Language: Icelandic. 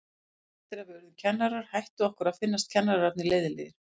Eftir að við urðum kennarar hætti okkur að finnast kennararnir leiðinlegir.